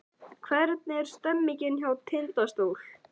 Hvernig er stemningin hjá Tindastól?